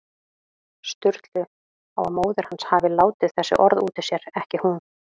Sturlu á að móðir hans hafi látið þessi orð út úr sér, ekki hún.